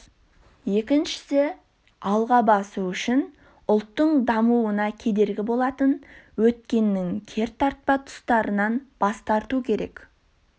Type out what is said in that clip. екіншісі алға басу үшін ұлттың дамуына кедергі болатын өткеннің кертартпа тұстарынан бас тару керек